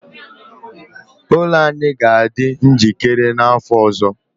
ụlọ anyị ga-adị njikere n'afọ ọzọ